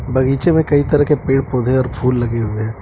बगीचे में कई तरह के पेड़ पौधें और फूल लगे हुए है।